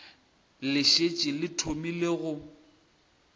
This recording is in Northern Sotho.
le šetše le thomile go